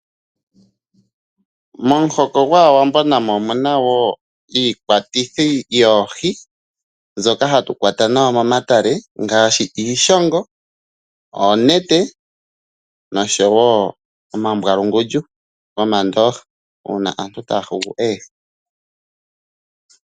Momuhoko gwAawambo namo omu na wo iikwatithi yoohi mbyoka hatu kwata nayo momatale ngaashi iishongo, oonete noshowo omambwalungundju gomandooha uuna aantu taa yulu oohi.